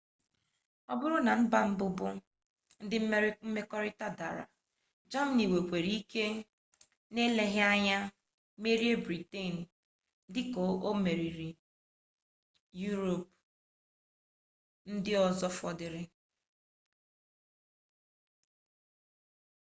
ọ bụrụ na ndị mba bụbu ndị mmekọrịta dara jamanị nwere ike eleghi anya merie briten dị ka o mere yurop ndị ọzọ fọdụrụ